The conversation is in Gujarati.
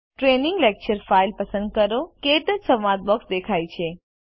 ટ્રેનિંગ લેક્ચર ફાઇલ પસંદ કરો ક્ટચ સંવાદ બોક્સ દેખાય છે